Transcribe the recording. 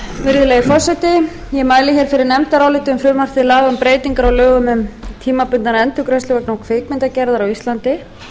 virðulegi forseti ég mæli hér fyrir nefndaráliti um frumvarp til laga um breytingar á lögum um tímabundnar endurgreiðslur vegna kvikmyndagerðar á íslandi